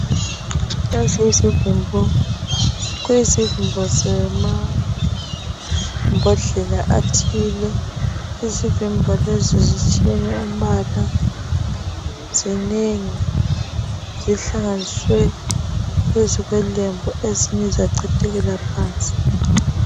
Iezi izivimbo kuyizivimbo zemambodlela athile izivimbo lezi zitshiyene umbala zinengi zihlanganiswe phezu kwelembu ezinye zachithekela phansi.